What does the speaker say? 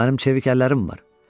Mənim çevik əllərim var.